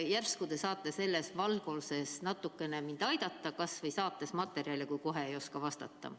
Järsku te saate mind natuke valgustada, kasvõi saates selle kohta materjali, kui kohe ei oska vastata.